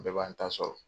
Bɛɛ b'an ta sɔrɔ